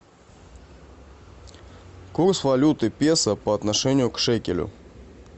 курс валюты песо по отношению к шекелю